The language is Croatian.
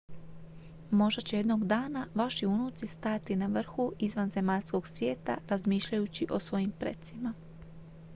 možda će jednoga dana vaši unuci stajati na vrhu izvanzemaljskog svijeta razmišljajući o svojim precima